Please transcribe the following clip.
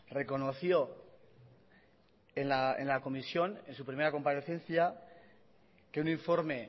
reconoció en la comisión en su primera comparecencia que un informe